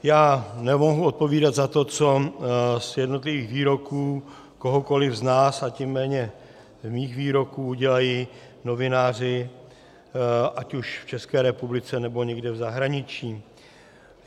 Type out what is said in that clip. Já nemohu odpovídat za to, co z jednotlivých výroků kohokoliv z nás, a tím méně z mých výroků udělají novináři ať už v České republice, nebo někde v zahraničí.